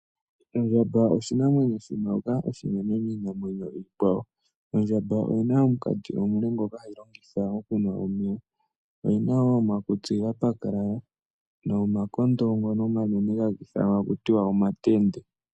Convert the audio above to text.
Ondjamba oshinamwenyo shoka oshinene kiinamwenyo miikwayo. Ondjamba oyina omukati omule ngoka hagu longitha okunwa omeya. Oyina wo omakutsi ga pakalala, nomakondo ngono omanene haga ithanwa taku ti wa omatende.